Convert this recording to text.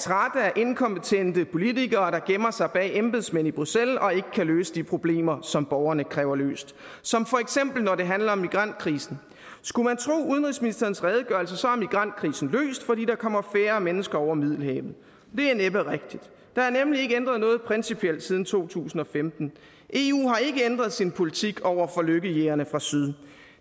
af inkompetente politikere der gemmer sig bag embedsmænd i bruxelles og ikke kan løse de problemer som borgerne kræver løst som for eksempel når det handler om migrantkrisen skulle man tro udenrigsministerens redegørelse er migrantkrisen løst fordi der kommer færre mennesker over middelhavet det er næppe rigtigt der er nemlig ikke ændret noget principielt siden to tusind og femten eu har ikke ændret sin politik over for lykkejægerne fra syd